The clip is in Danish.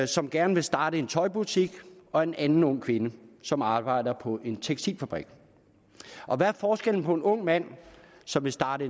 som gerne vil starte en tøjbutik og en anden ung kvinde som arbejder på en tekstilfabrik hvad er forskellen på en ung mand som vil starte